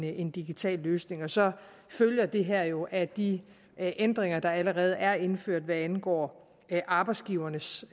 en digital løsning så følger det her jo af de ændringer der allerede er indført hvad angår arbejdsgivernes